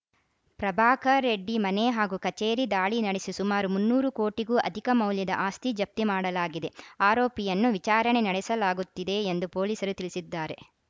ಪ್ರಭಾಕರ್‌ ರೆಡ್ಡಿ ಮನೆ ಹಾಗೂ ಕಚೇರಿ ದಾಳಿ ನಡೆಸಿ ಸುಮಾರು ಮುನ್ನೂರು ಕೋಟಿಗೂ ಅಧಿಕ ಮೌಲ್ಯದ ಆಸ್ತಿ ಜಪ್ತಿ ಮಾಡಲಾಗಿದೆ ಆರೋಪಿಯನ್ನು ವಿಚಾರಣೆ ನಡೆಸಲಾಗುತ್ತಿದೆ ಎಂದು ಪೊಲೀಸರು ತಿಳಿಸಿದ್ದಾರೆ